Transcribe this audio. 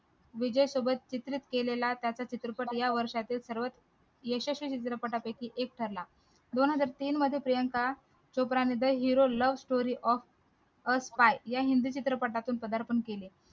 विजय सोबत चित्र केलेला त्याचा चित्रपट या वर्षातील सर्वात यशस्वी चित्रपटापैकी एक ठरला दोन हजार तीन मध्ये प्रियंका चोपडा ने the hero love story of a spy या हिंदी चित्रपटातून प्रधारपण केले